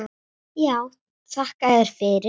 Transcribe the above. Já, þakka yður fyrir.